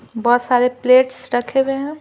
बहुत सारे प्लेट्स रखे हुए हैं।